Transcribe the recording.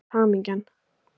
Þú veist: Hamingjan!